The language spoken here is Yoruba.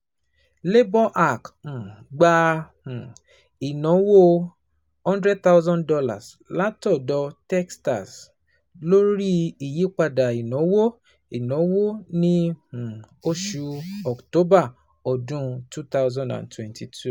LaborHack um gba um ìnáwó $ one hundred thousand látọ̀dọ̀ TechStars lórí ìyípadà ìnáwó ìnáwó ní um oṣù October ọdún twenty twenty two.